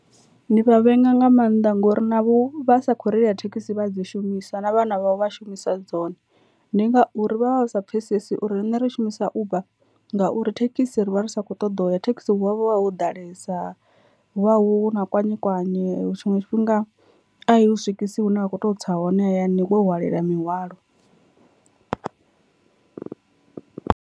Ndi vha vhenga nga maanḓa ngori navho vha sa khou reila thekhisi vha dzi shumisa na vhana vhavho vha shumisa dzone ndi ngauri vha vha sa pfhesesi uri rine ri shumisa uber, ngauri thekhisi ri vha ri sa kho ṱoḓa u ya thekhisi hu wa vha ho ḓalesa hu vha hu na kwanye kwanye tshiṅwe tshifhinga a i u swikisi hune wa kho to tsa hone hayani wo hwalela mihwalo .